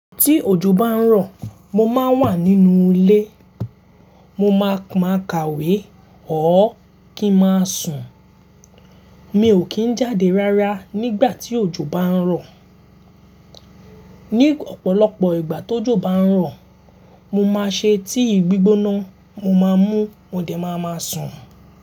Tí òjò bá ń rọ̀, mo máa ń wà nínú ilé. Mo máa ka ìwé ọ́ kí n máa sùn. Mi ò kì í jáde rárá nígbà tí òjò bá ń rọ̀. Ni ọ̀pọ̀lọpọ̀ ìgbà tó jò bá ń rọ̀, mo máa ṣe tíì gbígbóná, mo máa mú, mo dẹ máa máa sùn.